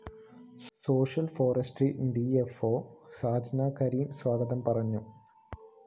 social forestry D F O Shajna Kareem സ്വാഗതം പറഞ്ഞു